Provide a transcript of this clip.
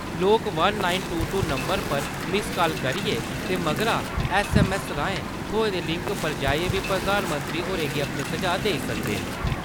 लोक one nine two two नम्बरै पर मिस्स-कॉल करियै ते मगरा ऐस्स.ऐम्म.ऐस्स राएं थ्होए दे लिंक पर जाइयै बी प्रधानमंत्री होरें गी अपने सुझाऽ देई सकदे न।